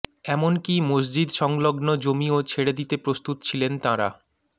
এমনকী মসজিদ সংলগ্ন জমিও ছেড়ে দিতে প্রস্তুত ছিলেন তাঁরা